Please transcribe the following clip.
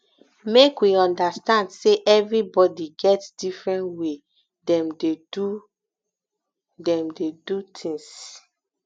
make we understand sey everybodi get different way dem dey do dem dey do tins